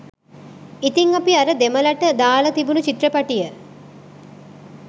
ඉතිං අපි අර දෙමළට දාලා තිබුණු චිත්‍රපටිය